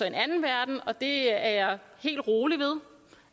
en anden verden og det er jeg helt rolig ved